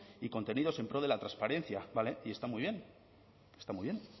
y contenidos en pro de la transparencia vale y está muy bien está muy bien